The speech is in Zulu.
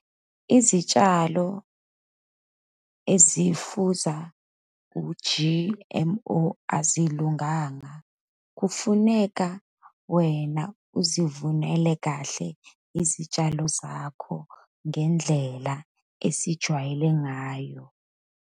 Izitshalo ezifuza u-G_M_O azilunganga, kufuneka wena uzivunele kahle izitshalo zakho, ngendlela esijwayele ngayo.